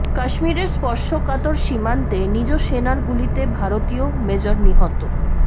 কাশ্মিরের স্পর্শকাতর সীমান্তে নিজ সেনার গুলিতে ভারতীয় মেজর নিহত